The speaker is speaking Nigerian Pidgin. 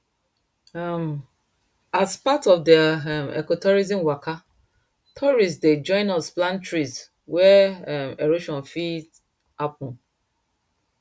um as part of their um ecotourism waka tourists dey join us plant trees where um erosion fit happen